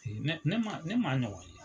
Ee ne ne ma a ɲɔgɔn ye.